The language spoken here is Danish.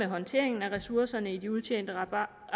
håndteringen af ressourcerne i de udtjente apparater og